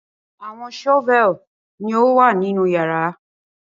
awọn shovel ni o wa ninu yara